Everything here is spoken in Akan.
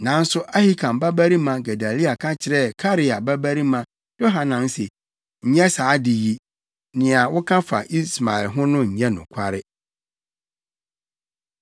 Nanso Ahikam babarima Gedalia ka kyerɛɛ Karea babarima Yohanan se, “Nyɛ saa ade yi! Nea woka fa Ismael ho no nyɛ nokware.”